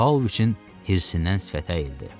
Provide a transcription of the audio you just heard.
Pauloviçin hirsindən sifəti əyildi.